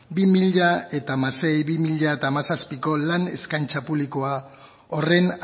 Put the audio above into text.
bi mila hamasei bi mila hamazazpiko lan eskaintza publikoa horren